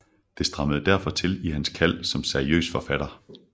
Det strammede derfor til i hans kald som seriøs forfatter